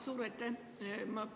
Suur aitäh!